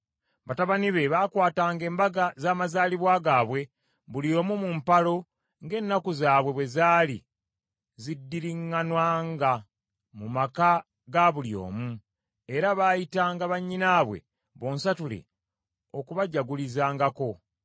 Batabani be baakwatanga embaga z’amazaalibwa gaabwe buli omu mu mpalo ng’ennaku zaabwe bwe zaali ziddiriŋŋananga mu maka ga buli omu; era baayitanga bannyinaabwe bonsatule okubajagulizaangako.